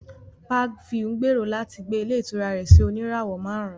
Parkview ń gbèrò láti gbé ilé ìtura rẹ̀ sí oníràwọ̀ márùn-ún